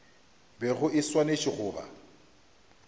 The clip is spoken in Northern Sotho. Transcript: bego e swanetše go ba